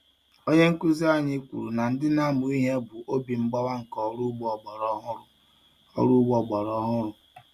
Onye nkuzi anyị kwuru na ndị na-amụ ihe bụ obi mgbawa nke ọrụ ugbo ọgbara ọhụrụ. ugbo ọgbara ọhụrụ.